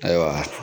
Ayiwa